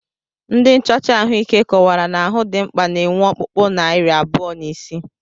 Ndị nchocha ahụike kọwara na ahụ dimkpa na-enwe ọkpụkpụ narị abụọ na isii